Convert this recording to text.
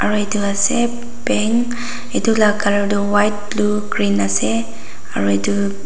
itu ase bank itu la color tu white blue green ase aru itu.